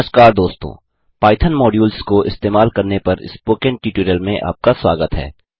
नमस्कार दोस्तों Python modules को इस्तेमाल करने पर स्पोकन ट्यूटोरियल में आपका स्वागत है